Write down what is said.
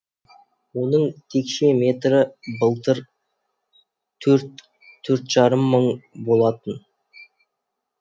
оның текше метрі былтыр төрт төрт жарым мың болатын